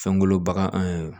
Fɛnkolo bagan